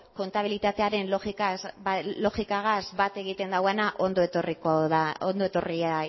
kontabilitatearen logikagaz bat egiten duena ondo etorria